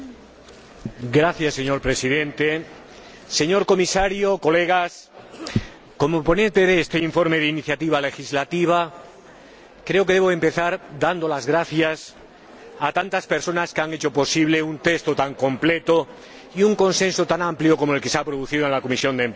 Señor Presidente, señor Comisario, estimados colegas, como ponente de este informe de iniciativa legislativa, creo que debo empezar dando las gracias a tantas personas que han hecho posible un texto tan completo y un consenso tan amplio como el que se ha producido en la Comisión de Empleo y Asuntos Sociales.